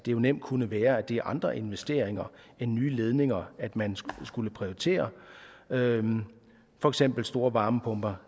jo nemt kunne være at det er andre investeringer end nye ledninger man skulle prioritere for eksempel store varmepumper